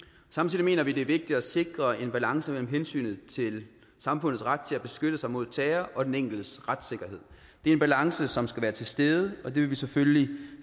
samtidig mener vi det er vigtigt at sikre en balance mellem hensynet til samfundets ret til at beskytte sig mod terror og den enkeltes retssikkerhed det er en balance som skal være til stede og det vil vi selvfølgelig